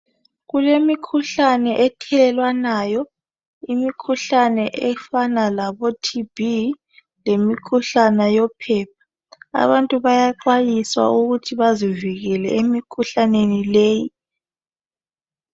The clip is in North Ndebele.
Kulemikhuhlane ethelelwanayo imikhuhlane efana labo TB lemikhuhlane yophepha. Abantu bayaxhayiswa ukuthi bazivikele emikhuhlaneni leyi.